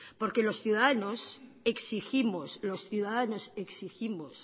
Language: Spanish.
porque los ciudadanos exigimos los ciudadanos exigimos